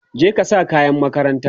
je ka sa kayan makaranta!